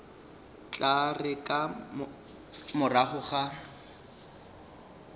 tla re ka morago ga